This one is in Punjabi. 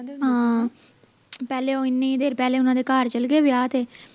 ਹਾਂ ਪਹਿਲੇ ਉਹ ਇੰਨੀ ਦੇਰ ਪਹਿਲਾਂ ਘਰ ਚਲੇ ਗਏ ਵਿਆਹ ਤੇ